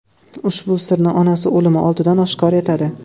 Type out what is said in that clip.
Ushbu sirni onasi o‘limi oldidan oshkor etadi.